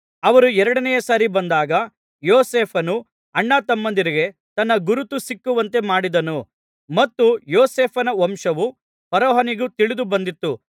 ಅವರು ಎರಡನೆಯ ಸಾರಿ ಬಂದಾಗ ಯೋಸೇಫನು ಅಣ್ಣತಮ್ಮಂದಿರಿಗೆ ತನ್ನ ಗುರುತು ಸಿಕ್ಕುವಂತೆ ಮಾಡಿದನು ಮತ್ತು ಯೋಸೇಫನ ವಂಶವು ಫರೋಹನಿಗೆ ತಿಳಿದು ಬಂದಿತು